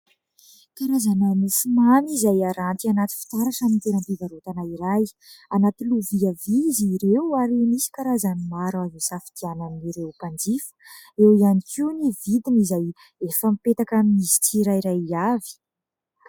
Karazana mofomamy izay aranty anaty fitaratra amin'ny toeram-pivarotana iray. Anaty lovia izy ireo ary misy karazany maro azo hisafidianan'ireo mpanjifa. Eo ihany koa ny vidiny izay efa mipetaka amin'izy tsirairay avy.